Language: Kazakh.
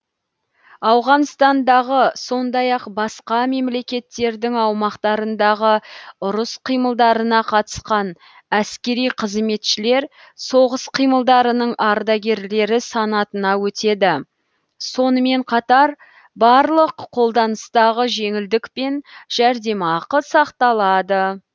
ауғанстандағы сондай ақ басқа мемлекеттердің аумақтарындағы ұрыс қимылдарына қатысқан әскери қызметшілер соғыс қимылдарының ардагерлері санатына өтеді сонымен қатар барлық қолданыстағы жеңілдік пен жәрдемақы сақталады